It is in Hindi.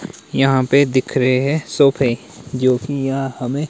यहां पे दिख रहे है सोफे जो कि यहां हमें--